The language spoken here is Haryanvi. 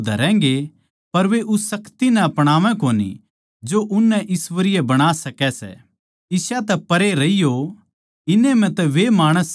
वे भगति का भेष तो धरैगें पर वे उस शक्ति नै अपणावै कोनी जो उन ताहीं ईश्वरीय बणा सकै सै इसा तै परै रहियो